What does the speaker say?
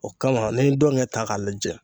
O kama n'i ye ndɔngɛ ta k'a lajɛ.